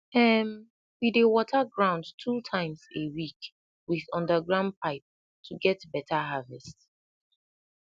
um we dey water ground two times a week with underground pipe to get better harvest